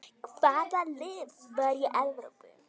Hvaða lið fara í Evrópu?